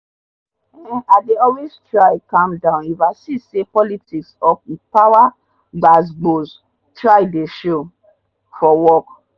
um i dey always try calm down if i see say politics or power gbas gbos try dey show for work.